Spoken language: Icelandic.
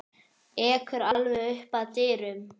Ekur alveg upp að dyrum.